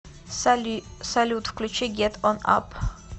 салют включи гет он ап